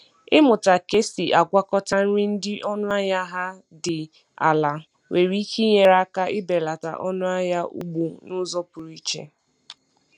Ịmụta ka esi agwakọta nri dị ọnụ ahịa ha dị ala nwere ike inye aka ibelata ọnụ ahịa ugbo n’uzo pụrụ iche